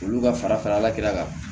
Olu ka fara fara la kɛrɛ kan